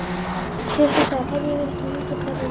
Kristofer, heyrðu í mér eftir níutíu og tvær mínútur.